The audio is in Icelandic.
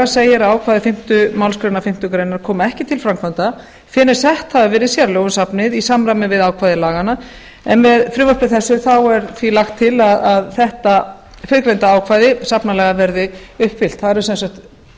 segir að ákvæði fimmtu málsgrein fimmtu grein komi ekki til framkvæmda fyrr en sett hafa verið sérlög um safnið í samræmi við ákvæði laganna en með frumvarpi þessi er því lagt til að þetta fyrrgreinda ákvæði safnalaga verði uppfyllt það er sem sagt